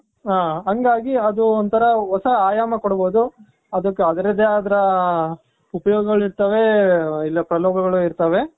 ಹಾ ಹಂಗಾಗಿ ಅದು ಒಂತರ ಹೊಸ ಆಯಾಮ ಕೊಡ್ಬಹುದು ಅದಕ್ಕೆ ಅದ್ರದೇ ಆದ ಉಪಯೋಗಗಳು ಇರ್ತಾವೆ. ಇಲ್ಲ ಪ್ರಲೋಗಗಳು ಇರ್ತಾವೆ.